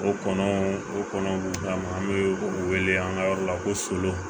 O kɔnɔ o kɔnɔ b'u d'an ma an bɛ o wele an ka yɔrɔ la ko solon